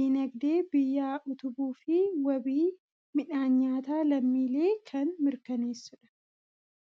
dinagdee biyyaa utubuu fi wabii midhaan nyaataa lammiilee kan mirkaneessudha.